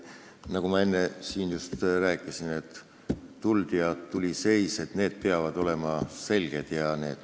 Nagu ma enne siin just rääkisin, käsklused "Tuld!" ja "Tuli seis!" peavad olema selged.